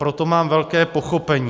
Proto mám velké pochopení.